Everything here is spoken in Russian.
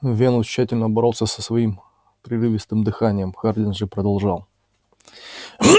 венус тщательно боролся со своим прерывистым дыханием хардин же продолжал